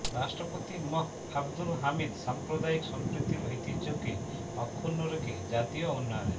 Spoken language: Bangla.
রাষ্ট্রপতি মোঃ আবদুল হামিদ সাম্প্রদায়িক সম্প্রীতির ঐতিহ্যকে অক্ষুণ্ন রেখে জাতীয় উন্নয়নে